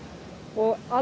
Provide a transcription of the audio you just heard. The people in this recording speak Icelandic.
og